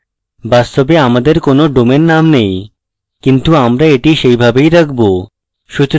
বাস্তবে আমার কোনো ডোমেইন name নেই কিন্তু আমরা এটি সেইভাবেই রাখবো